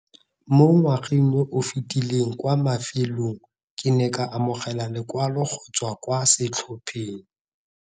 Mo ngwageng yo o fetileng kwa mafelong ke ne ka amogela lekwalo go tswa kwa setlhopheng.